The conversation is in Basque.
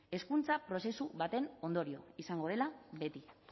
hezkuntza prozesu baten ondorio izango dela beti